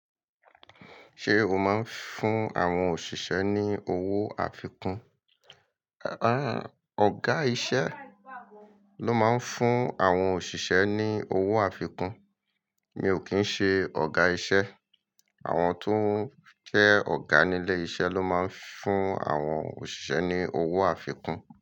Ṣé o máa ń fún àwọn òṣìṣẹ́ ní owó àfikún? Àá ọ̀gá iṣẹ́ ló máa ń fún àwọn òṣìṣẹ́ ní owó àfikún, mi ò kín ṣe ọ̀gá iṣẹ́. Àwọn tó ń kẹ́ ọ̀gá nílé iṣẹ́ ló máa ń fún àwọn òṣìṣẹ́ ní owó àfikún.